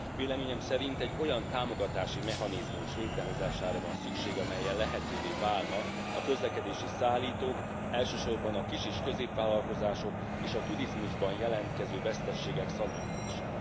Véleményem szerint egy olyan támogatási mechanizmus létrehozására van szükség, amellyel lehetővé válna a közlekedési szállítók, elsősorban a kis és középvállalkozások, és a turizmusban jelentkező veszteségek szanálása.